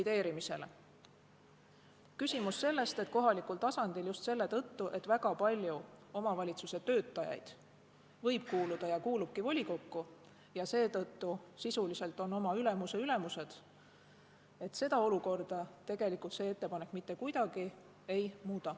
Seda olukorda, et kohalikul tasandil just selle tõttu, et väga paljud omavalitsuse töötajad võivad kuuluda ja kuuluvadki volikokku ning seetõttu sisuliselt on oma ülemuse ülemused, see ettepanek mitte kuidagi ei muuda.